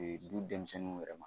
du denmisɛnninw yɛrɛ ma